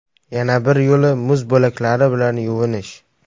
Yana bir yo‘li muz bo‘laklari bilan yuvinish.